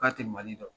K'a tɛ mali dɔn